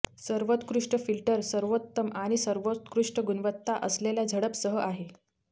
सर्वोत्कृष्ट फिल्टर सर्वोत्तम आणि सर्वोत्कृष्ट गुणवत्ता असलेल्या झडप सह आहे